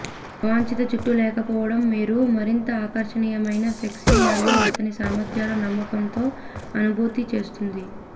అవాంఛిత జుట్టు లేకపోవడం మీరు మరింత ఆకర్షణీయమైన సెక్సీ మరియు అతని సామర్ధ్యాలు నమ్మకంతో అనుభూతి చేస్తుంది